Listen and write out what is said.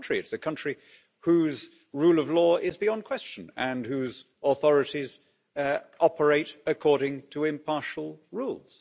on the contrary, it's a country whose rule of law is beyond question and whose authorities operate according to impartial rules.